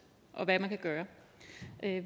og hvad man kan gøre